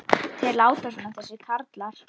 Þeir láta svona þessir karlar.